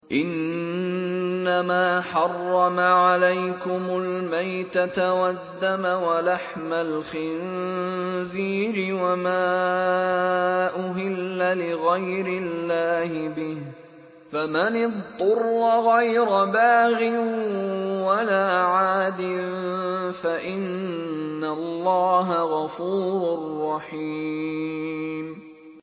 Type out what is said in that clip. إِنَّمَا حَرَّمَ عَلَيْكُمُ الْمَيْتَةَ وَالدَّمَ وَلَحْمَ الْخِنزِيرِ وَمَا أُهِلَّ لِغَيْرِ اللَّهِ بِهِ ۖ فَمَنِ اضْطُرَّ غَيْرَ بَاغٍ وَلَا عَادٍ فَإِنَّ اللَّهَ غَفُورٌ رَّحِيمٌ